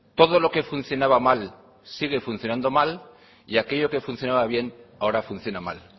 todo lo que funcionaba mal sigue funcionando mal y aquello que funcionaba bien ahora funciona mal